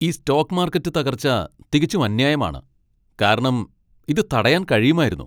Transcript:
ഈ stock market തകർച്ച തികച്ചും അന്യായമാണ്, കാരണം ഇത് തടയാൻ കഴിയുമായിരുന്നു.